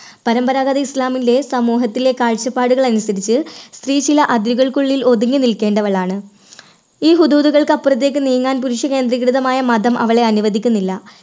പരമ്പരാഗത ഇസ്ലാമിലെ സമൂഹത്തിലെ കാഴ്ചപ്പാടുകൾ അനുസരിച്ച് സ്ത്രീ ചില അതിരുകൾക്കുള്ളിൽ ഒതുങ്ങി നിൽക്കേണ്ടവളാണ്. ഈ വിദൂരതകൾക്ക് അപ്പുറത്തേക്ക് നീങ്ങാൻ പുരുഷ കേന്ദ്രീകൃതമായ മതം അവളെ അനുവദിക്കുന്നില്ല.